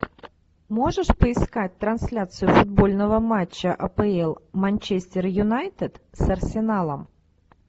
можешь поискать трансляцию футбольного матча апл манчестер юнайтед с арсеналом